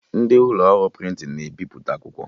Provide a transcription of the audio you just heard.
Ndị ụlọ ọrụ prịntịn na-ebiputa akwụkwọ